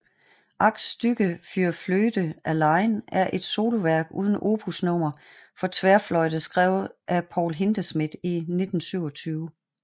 Acht Stücke für Flöte allein er et soloværk uden opusnummer for tværfløjte skrevet af Paul Hindemith i 1927